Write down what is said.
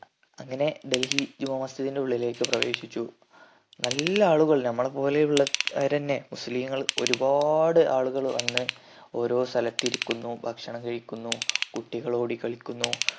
അങ്ങനെ ഡൽഹി ജുമാമസ്ജിദിന്റെ ഉള്ളിലേക്ക് പ്രവേശിച്ചു നല്ല ആളുകൾ നമ്മളെ പോലെ ഉള്ള വരെന്നെ മുസ്ലിങ്ങൾ ഒരു പാട് ആളുകൾ വന്ന് ഓരോ സ്ഥലത്ത് ഇരിക്കുന്നു ഭക്ഷണം കഴിക്കുന്നു കുട്ടികൾ ഓടിക്കളിക്കുന്നു